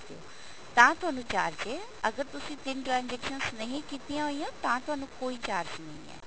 ਤਾਂ ਤੁਹਾਨੂੰ charge ਹੈ ਅਗਰ ਤੁਸੀਂ ਤਿੰਨ transaction ਨਹੀਂ ਕੀਤੀਆਂ ਹੋਈਆਂ ਤਾਂ ਤੁਹਾਨੂੰ ਕੋਈ charge ਨਹੀਂ ਹੈ